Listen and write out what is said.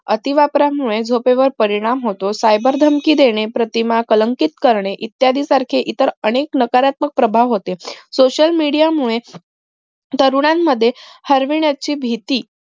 अति वापरामुळे झोपेवर परिणाम होतो cyber धमकी देणे प्रतिमा कलंकित करणे इत्यादी सारखे इतर अनेक नकारात्मक प्रभाव होते social media मुळे तरुणानं मध्ये हरविनाप ची भीती